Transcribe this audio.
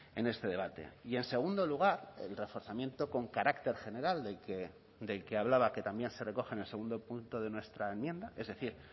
en este debate y en segundo lugar el reforzamiento con carácter general del que hablaba que también se recoge en el segundo punto de nuestra enmienda es decir